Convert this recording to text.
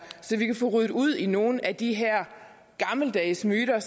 så vi kan få ryddet ud i nogle af de her gammeldags myter